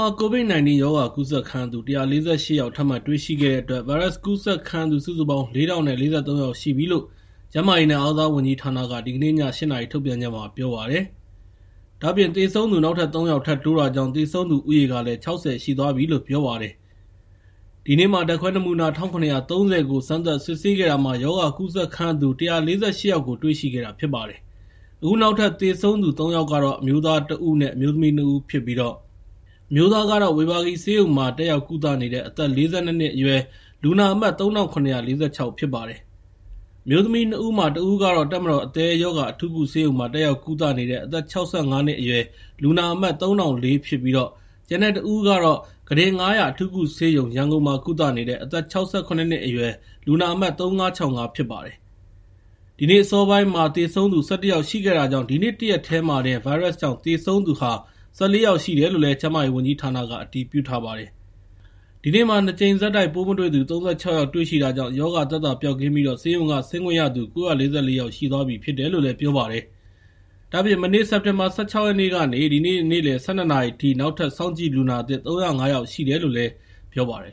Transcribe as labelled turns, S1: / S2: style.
S1: ှာ COVID-19 ရောဂါကူးစက်ခံရသူ ၁၄၈ ယောက်ထပ်မံတွေ့ရှိခဲ့တဲ့အတွက် ဗိုင်းရပ်စ်ကူးစက်ခံရသူ စုစုပေါင်း ၄,၀၄၃ ယောက် ရှိပြီလို့ ကျန်းမာရေးနဲ့ အားကစားဝန်ကြီးဌာနက ဒီကနေ့ည ၈ နာရီထုတ်ပြန်ချက်မှာ ပြောပါတယ်။ ဒါ့အပြင် သေဆုံးသူ နောက်ထပ် ၃ ယောက် ထပ်တိုးတာကြောင့် သေဆုံးသူဦးရေကလည်း ၆၀ ရှိသွားပြီလို့ ပြောပါတယ်။ ဒီနေ့ ဓာတ်ခွဲ နမူနာ ၁,၇၃၀ ကို စမ်းသပ်စစ်ဆေးခဲ့တာမှာ ရောဂါကူးစက်ခံရသူူ ၁၄၈ ယောက်ကို တွေ့ရှိခဲ့တာဖြစ်ပါတယ်။ အခုနောက်ထပ် သေဆုံးသူ ၃ ယောက်ကကတော့ အမျိုးသား ၁ ဦး အမျိုးသမီး ၂ ဦးဖြစ်ပြီး အမျိုးသားကတော့ ဝေဘာဂီဆေးရုံမှာ တက်ရောက်ကုသနေတဲ့ အသက် ၄၂ နှစ်အရွယ် လူနာအမှတ် ၃,၇၄၆ ဖြစ်ပါတယ်။ အမျိုးသမီး ၂ ဦးမှာ တဦးက တပ်မတော် အသည်းရောဂါအထူးကုဆေးရုံမှာ တက်ရောက်ကုသနေသူ အသက် ၆၅ နှစ်အရွယ် လူနာအမှတ် ၃,၀၀၄ ဖြစ်ပြီး ကျန်တဲ့တဦးကတော့ ကုတင် ၅၀၀ အထူးကုဆေးရုံမှာ ကုသနေတဲ့ အသက် ၆၇ နှစ်အရွယ် လူနာအမှတ် ၃,၅၆၅ ဖြစ်ပါတယ်။ ဒီနေ့ အစောပိုင်းက သေဆုံးသူ ၁၁ ယောက်ရှိတာကြောင့် ဒီနေ့ တရက်တည်းတင် ဗိုင်းရပ်စ်ကြောင့် သေဆုံးသူက ၁၄ ယောက်ရှိတယ်လို့ ကျန်းမာရေးဝန်ကြီးဌာနက အတည်ပြုထားပါတယ်။ ဒါ့အပြင် ဒီနေ့မှာ ၂ ကြိမ်ဆက် ပိုးမတွေ့သူ ၃၆ ယောက်ရှိတာကြောင့် ရောဂါသက်သာပျောက်ကင်းပြီး ဆေးရုံက ဆင်းခွင့်ရသူ ၉၄၄ ယောက်ရှိသွားပြီဖြစ်တယ်လို့ ပြောပါတယ်။ ဒါ့အပြင် မနေ့ စက်တင်ဘာ ၁၆ ရက်နေ့ကနေ ဒီနေ့ နေ့လယ် ၁၂ နာရီအထိ နောက်ထပ် စောင့်ကြည့်လူနာသစ် ၃၀၅ ယောက်ရှိတယ်လို့လည်း ပြောပါတယ်